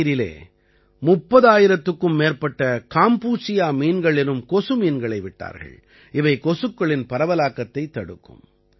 நதிநீரிலே 30000க்கும் மேற்பட்ட காம்பூசியா மீன்கள் எனும் கொசு மீன்களை விட்டார்கள் இவை கொசுக்களின் பரவலாக்கத்தைத் தடுக்கும்